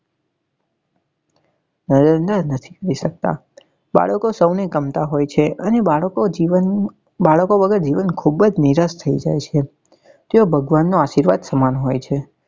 બાળકો સૌ ને ગમતા હોય છે અને બાળકો જીવન બાળકો વગર જીવન ખુબ જ નિરાશ થઇ જાય છે તેઓ ભગવાન નો આશીર્વાદ સમાન હોય છે.